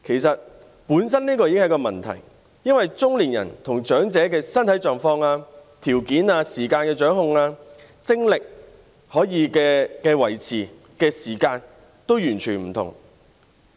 這本身已是一個問題，因為中年人與長者在身體狀況、條件、對時間的掌控、精力等方面均完全不同。